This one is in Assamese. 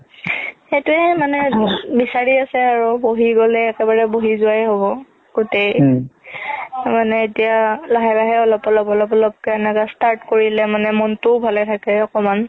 সেইটোয়ে মানে বিচাৰি আছে আৰু বহি গ'লে একেবাৰে বহি যুৱাই হ'ব গুতেই মানে এতিয়া লাহে লাহে অলপ অলপ অলপ অলপ কে start কৰিলে মানে নিজৰ মনটো ভালে থাকে অকমাণ